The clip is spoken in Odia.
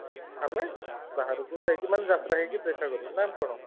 ଆମେ ବାହାରକୁ ଯାଇକି ମାନେ ଦେଖା କରିବୁ ନା କଣ